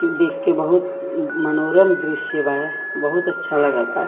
देख के बहुत म्-म्-मनोरम दृश्य बाए। बहुत अच्छा लागता।